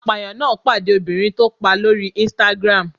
Apàyàn náà gbà de obìnrin tó pa lórí Instagram.